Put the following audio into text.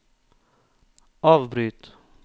avbryt